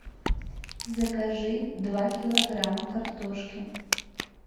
закажи два килограмма картошки